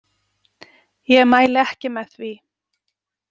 Ég mæli ekki með því.